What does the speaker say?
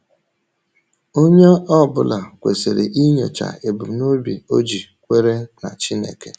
Onye ọ bụla kwesịrị inyocha ebumnobi o ji kwere na Chineke.